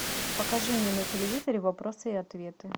покажи мне на телевизоре вопросы и ответы